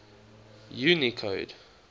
unicode